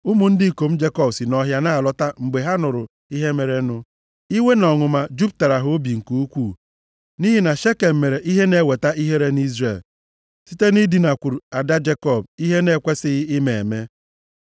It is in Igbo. Ụmụ ndị ikom Jekọb si nʼọhịa na-alọta mgbe ha nụrụ ihe merenụ, iwe na ọnụma juputara ha obi nke ukwuu nʼihi na Shekem mere ihe na-eweta ihere nʼIzrel site nʼidinakwuru ada Jekọb, ihe a na-ekwesighị ime eme.